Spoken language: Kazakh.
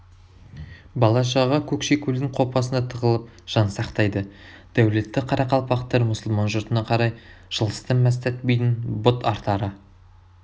бала-шаға көкшекөлдің қопасына тығылып жан сақтайды дәулетті қарақалпақтар мұсылман жұртына қарай жылысты мәстәт бидің бұт артары